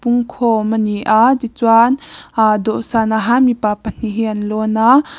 a ni a tichuan aaa dawhsanah hian mipa pahnih hi an lawn a.